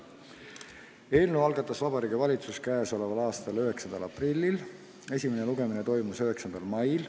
Eelnõu algatas Vabariigi Valitsus k.a 9. aprillil, esimene lugemine toimus 9. mail.